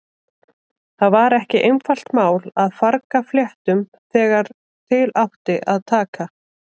Það var ekki einfalt mál að farga fléttum þegar til átti að taka.